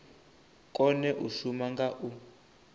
kone u shuma nga u